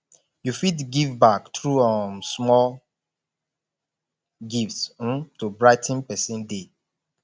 yu fit give back thru um small gifts um to brigh ten pesin day